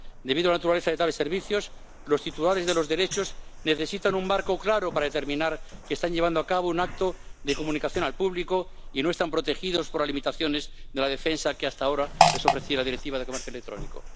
Debido a la naturaleza de tales servicios, los titulares de los derechos necesitan un marco claro para determinar que están llevando a cabo un acto de comunicación al público y no están protegidos por las limitaciones de la defensa que hasta ahora les ofreciera la Directiva de comercio electrónico.